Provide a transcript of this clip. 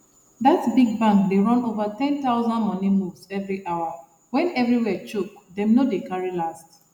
that big bank dey run over 10000 money moves every hour when everywhere choke dem no dey carry last